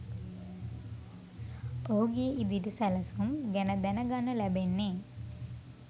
ඔහුගේ ඉදිරි සැලසුම් ගැන දැනගන්න ලැබෙන්නේ